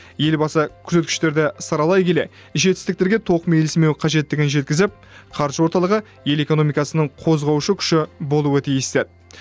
елбасы көрсеткіштерді саралай келе жетістіктерге тоқмейілсімеу қажеттігін жеткізіп қаржы орталығы ел экономикасының қозғаушы күші болуы тиіс деді